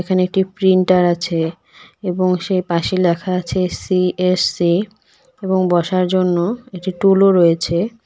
এখানে একটি প্রিন্টার আছে এবং সেই পাশে লেখা আছে সি_এস_সি এবং বসার জন্য একটি টুলও রয়েছে.